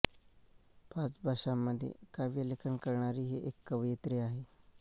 पाच भाषांमध्ये काव्यलेखन करणारी ही एक कवयित्री आहे